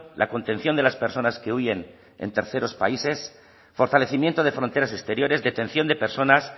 la contención de las personas que huyen en terceros países fortalecimiento de fronteras exteriores detención de personas